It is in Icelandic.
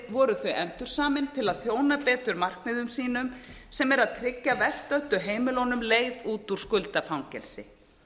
voru þau endursamin til að þjóna betur markmiðum sínum sem eru að tryggja verst stöddu heimilunum leið út úr skuldafangelsi